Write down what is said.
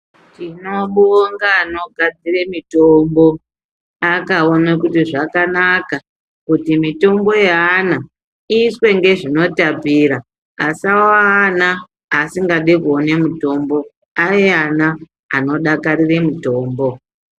Tinobonga anogadzire mitombo. Akaona kuti zvakanaka kuti mitombo yeana iiswe ngezvinotapira asawa ana asingadi kuone mitombo ave ana anodakarire mitombo.